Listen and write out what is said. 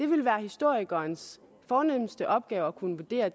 vil være historikerens fornemste opgave at kunne vurdere